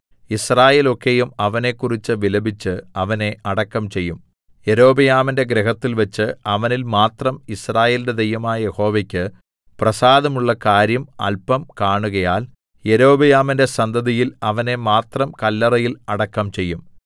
യിസ്രായേലൊക്കെയും അവനെക്കുറിച്ച് വിലപിച്ച് അവനെ അടക്കം ചെയ്യും യെരോബെയാമിന്റെ ഗൃഹത്തിൽവെച്ച് അവനിൽ മാത്രം യിസ്രായേലിന്റെ ദൈവമായ യഹോവയ്ക്ക് പ്രസാദമുള്ള കാര്യം അല്പം കാണുകയാൽ യൊരോബെയാമിന്റെ സന്തതിയിൽ അവനെ മാത്രം കല്ലറയിൽ അടക്കം ചെയ്യും